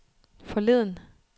forleden